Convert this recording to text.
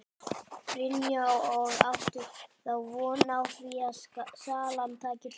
Brynja: Og áttu þá von á því að salan taki kipp?